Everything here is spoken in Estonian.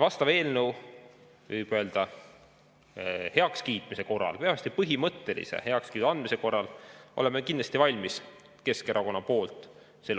Vastava eelnõu, võib öelda, heakskiitmise korral või vähemasti sellele põhimõttelise heakskiidu andmise korral oleme kindlasti valmis Keskerakonna poolt